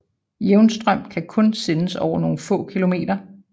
Jævnstrøm kan kun sendes over nogle få kilometer